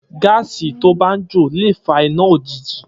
Gàsí tó ba ń jo le fà ìná òjíjì